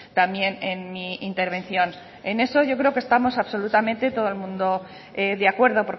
también en mi intervención en eso yo creo que estamos absolutamente todo el mundo de acuerdo